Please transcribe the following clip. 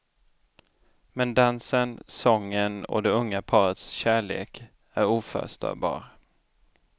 Men dansen, sången och det unga parets kärlek är oförstörbar.